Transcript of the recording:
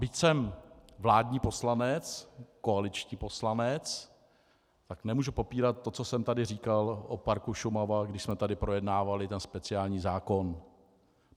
Byť jsem vládní poslanec, koaliční poslanec, tak nemohu popírat to, co jsem tady říkal o parku Šumava, když jsme tady projednávali ten speciální zákon.